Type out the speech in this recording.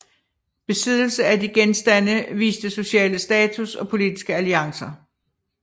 Besiddelse af de genstande viste sociale status og politiske alliancer